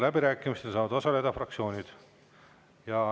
Läbirääkimistel saavad osaleda fraktsioonid.